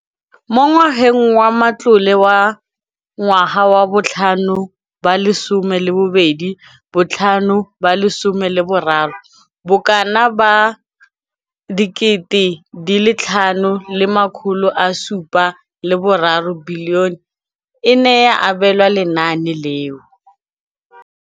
Mo ngwageng wa matlole wa 2015,16, bokanaka R5 703 bilione e ne ya abelwa lenaane leno.